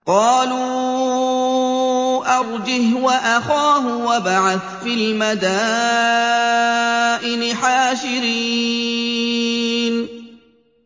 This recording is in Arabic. قَالُوا أَرْجِهْ وَأَخَاهُ وَابْعَثْ فِي الْمَدَائِنِ حَاشِرِينَ